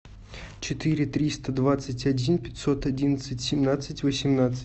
четыре триста двадцать один пятьсот одиннадцать семнадцать восемнадцать